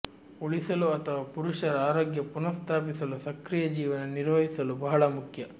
ಉಳಿಸಲು ಅಥವಾ ಪುರುಷರ ಆರೋಗ್ಯ ಪುನಃಸ್ಥಾಪಿಸಲು ಸಕ್ರಿಯ ಜೀವನ ನಿರ್ವಹಿಸಲು ಬಹಳ ಮುಖ್ಯ